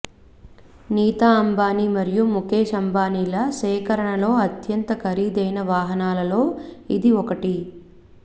నీతా అంబానీ మరియు ముఖేష్ అంబానీల సేకరణలో అత్యంత ఖరీదైన వాహనాలలో ఇది ఒకటి